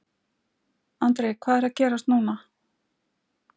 Andri hvað er að gerast núna?